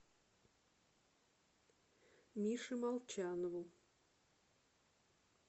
мише молчанову